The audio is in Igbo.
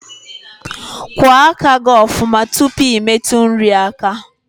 Kwa aka gi ofuma tupu I metu nri aka